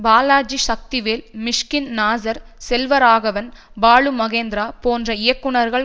பாலாஜி சக்திவேல் மிஷ்கின் நாசர் செல்வராகவன் பாலுமகேந்திரா போன்ற இயக்குனர்கள்